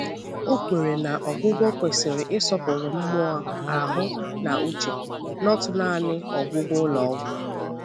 Ọ kwèrè na ọgwụgwọ kwesịrị isọ̀pụrụ mmụọ, ahụ́, na uche—not naanị ọgwụ ụlọ ọgwụ.